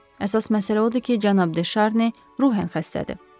Əsas məsələ odur ki, cənab De Şarni ruhen xəstədir.